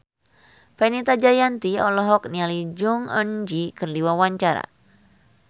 Fenita Jayanti olohok ningali Jong Eun Ji keur diwawancara